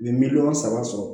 U bɛ miliyɔn saba sɔrɔ